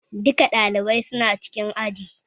Duka ɗalibai su na cikin aji